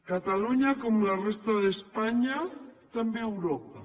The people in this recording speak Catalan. catalunya com la resta d’espanya també d’europa